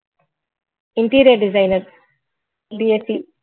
Interior designer